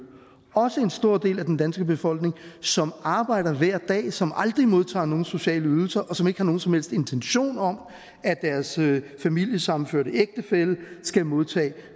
også en stor del af den danske befolkning som arbejder hver dag som aldrig modtager nogen sociale ydelser og som ikke har nogen som helst intention om at deres familiesammenførte ægtefælle skal modtage